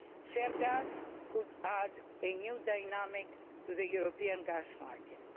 Shale gas could add a new dynamic to the European gas market.